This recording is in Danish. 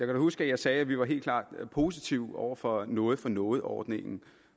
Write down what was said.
da huske at jeg sagde at vi helt klart var positive over for noget for noget ordningen